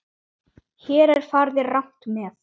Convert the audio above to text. Hér er farið rangt með.